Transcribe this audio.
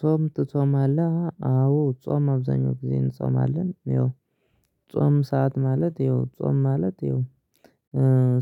ጾም ትጾማለህ አዎ ጾም አብዛኛው ጊዜ እንጾማለን ይኸው ጾም ሰዓት ማለት ይኸው ጾም ማለት ይኸው